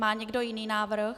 Má někdo jiný návrh?